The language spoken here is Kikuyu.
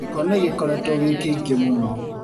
Gĩko nĩgĩkoretwo gĩkĩingĩ mũno.